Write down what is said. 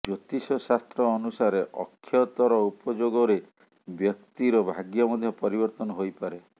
ଜ୍ୟୋତିଷ ଶାସ୍ତ୍ର ଅନୁସାରେ ଅକ୍ଷତର ଉପଯୋଗରେ ବ୍ୟକ୍ତିର ଭାଗ୍ୟ ମଧ୍ୟ ପରିବର୍ତ୍ତନ ହୋଇପାରେ